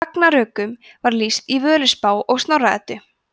ragnarökum er lýst í völuspá og snorra eddu